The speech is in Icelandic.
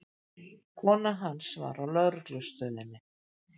Konan hans var á lögreglustöðinni.